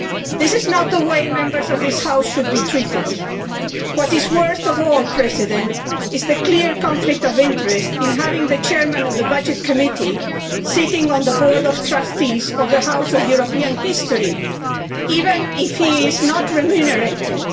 This is not the way a Member of this House should be treated. What is worst of all, Mr President, is the clear conflict of interests in having the chairman of the Budgets Committee sitting on the board of trustees of the House of European History, even if he is not remunerated.